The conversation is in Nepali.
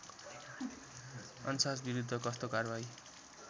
अन्साजविरुद्ध कस्तो कारबाही